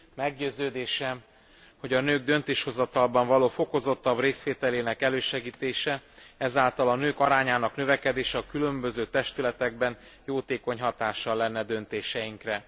Meggyőződésem, hogy a nők döntéshozatalban való fokozottabb részvételének elősegítése, ezáltal a nők arányának növekedése a különböző testületekben jótékony hatással lenne döntéseinkre.